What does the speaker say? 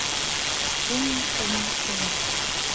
ung ung ung